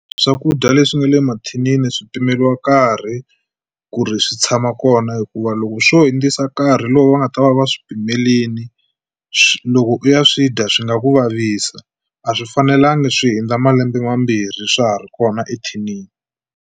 Swakudya leswi nga le mathinini swi pimeliwa nkarhi ku ri swi tshama kona hikuva loko swo hundzisa nkarhi lowu va nga ta va va swi pimelini loko u ya swi dya swi nga ku vavisa a swi fanelanga swi hundza malembe mambirhi swa ha ri kona ethinini.